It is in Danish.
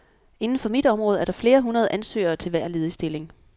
Inden for mit område er der flere hundrede ansøgere til hver ledig stilling.